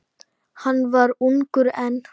Hann var ungur enn.